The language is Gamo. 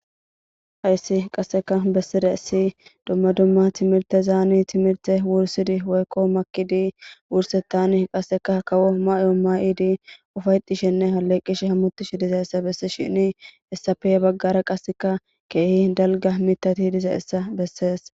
Hayssi qasse bessidayssi dumma dumma timirtezan wursidi timrtezan woykko makkidi wurseththan kawo mayo mayidi ufa'etishenne alleqishe hamutishe dizayssa bessishin hayssape ya baggara qassekka keehi dalgga mitatti dizayssa besses.